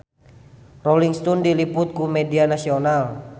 Rolling Stone diliput ku media nasional